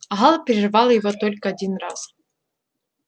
гаал прервал его только один раз